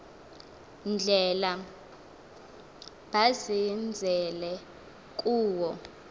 ndlela bazenzele kuwo